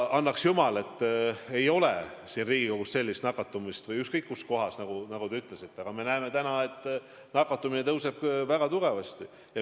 Annaks jumal, et ei tuleks siin Riigikogus või ükskõik kus mujal sellist nakatumist, nagu te ütlesite, aga me näeme täna, et nakatumine kasvab väga tugevasti.